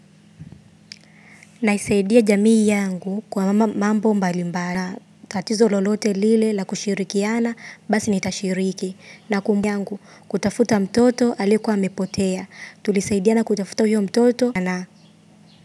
Naisaidia jamii yangu kwa mambo mbali mbali na tatizo lolote lile la kushirikiana basi nitashiriki na kumbu yangu kutafuta mtoto alikuwa amepotea tulisaidia na kutafuta huyo mtoto na na.